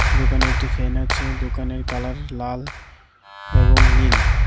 দোকানে একটি ফ্যান আছে দোকানের কালার লাল এবং নীল।